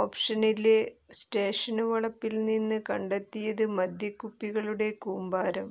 ഓപറേഷനില് station വളപ്പില്നിന്ന് കണ്ടെത്തിയത് മദ്യക്കുപ്പികളുടെ കൂമ്പാരം